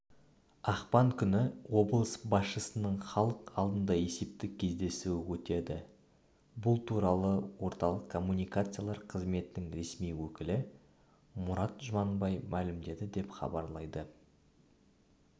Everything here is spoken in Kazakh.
ақпан күні облыс басшысының халық алдында есептік кездесуі өтеді бұл туралы орталық коммуникациялар қызметінің ресми өкілі мұрат жұманбай мәлімдеді деп хабарлайды